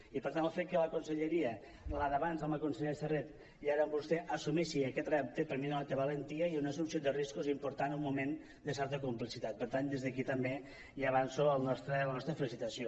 i per tant el fet que la conselleria la d’abans amb la consellera serret i ara amb vostè assumeixi aquest repte per mi denota valentia i una assumpció de riscos important en un moment de certa complexitat per tant des d’aquí també ja avanço la nostra felicitació